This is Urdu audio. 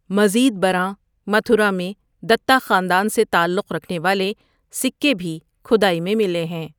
مزید برآں، متھرا میں دتا خاندان سے تعلق رکھنے والے سکے بھی کھدائی میں ملے ہیں۔